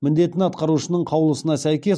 міндетін атқарушының қаулысына сәйкес